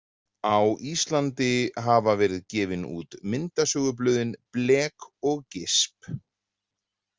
Á Íslandi hafa verið gefin út myndasögublöðin Blek og Gisp!.